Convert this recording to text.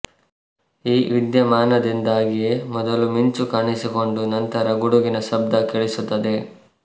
ಈ ವಿದ್ಯಮಾನದಿಂದಾಗಿಯೇ ಮೊದಲು ಮಿಂಚು ಕಾಣಿಸಿಕೊಂಡು ನಂತರ ಗುಡುಗಿನ ಶಬ್ದ ಕೇಳಿಸುತ್ತದೆ